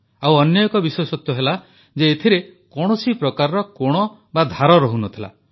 ଆଉ ଅନ୍ୟ ଏକ ବିଶେଷତ୍ୱ ଥିଲା ଯେ ଏଥିରେ କୌଣସି ପ୍ରକାର କୋଣ ବା ଧାର ରହୁ ନଥିଲା